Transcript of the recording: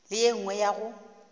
le ye nngwe ya go